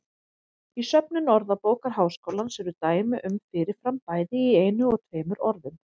Í söfnum Orðabókar Háskólans eru dæmi um fyrir fram bæði í einu og tveimur orðum.